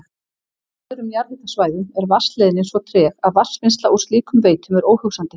Á öðrum jarðhitasvæðum er vatnsleiðnin svo treg að vatnsvinnsla úr slíkum veitum er óhugsandi.